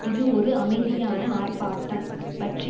இது ஒரு அமைதியான ஆர்ப்பாட்டம் பற்றி